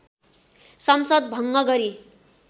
संसद भङ्ग गरी